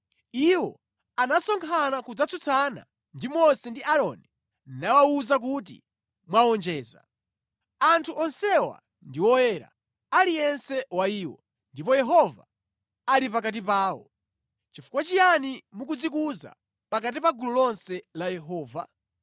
Iwo anasonkhana kudzatsutsana ndi Mose ndi Aaroni nawawuza kuti, “Mwawonjeza! Anthu onsewa ndi oyera, aliyense wa iwo, ndipo Yehova ali pakati pawo. Chifukwa chiyani mukudzikuza pakati pa gulu lonse la Yehova?”